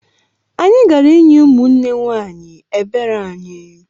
Anyị gara inye ụmụnne nwanyị ebere anyị